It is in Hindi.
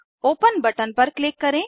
ओपन बटन पर क्लिक करें